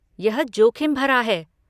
यह जोखिम भरा है।